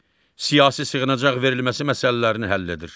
Siyasi sığınacaq verilməsi məsələlərini həll edir.